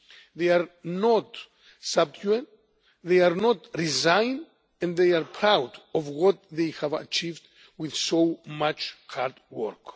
They are not subjugated, they are not resigned, and they are proud of what they have achieved with much hard